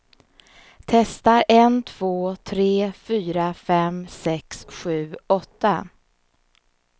Testar en två tre fyra fem sex sju åtta.